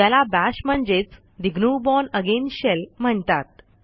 ज्याला बाश म्हणजेच the GNU bourne again shell म्हणतात